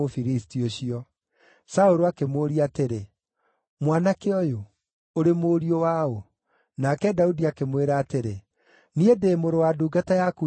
Saũlũ akĩmũũria atĩrĩ, “Mwanake ũyũ, ũrĩ mũriũ waũ?” Nake Daudi akĩmwĩra atĩrĩ, “Niĩ ndĩ mũrũ wa ndungata yaku Jesii wa Bethilehemu.”